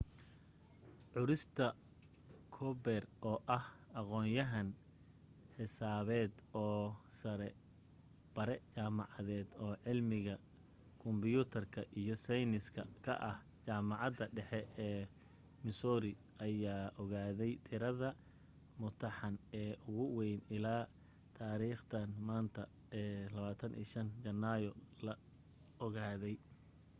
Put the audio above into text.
curtis cooper oo ah aqoonyahan xisaabeed oo bare jaamacadeed oo cilmiga kombiyuutarka iyo seeyniska ka ah jaamacadda dhexe ee missouri ayaa ogaatay tirade mutuxan ee ugu way ilaa taariikhdan maanta ee 25 janaayo la ogaaday